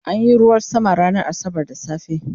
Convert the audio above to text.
an Yi ruwan sama ranar asabar da safe